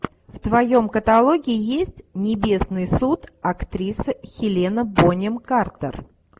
в твоем каталоге есть небесный суд актриса хелена бонем картер